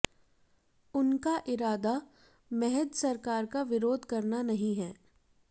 उनका इरादा महज सरकार का विरोध करना नहीं है